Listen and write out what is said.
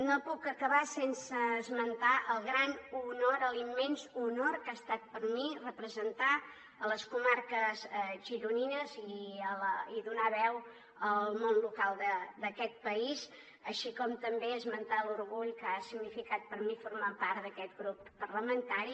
no puc acabar sense esmentar el gran honor l’immens honor que ha estat per a mi representar les comarques gironines i donar veu al món local d’aquest país així com també esmentar l’orgull que ha significat per a mi formar part d’aquest grup parlamentari